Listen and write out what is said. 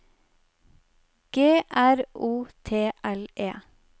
G R O T L E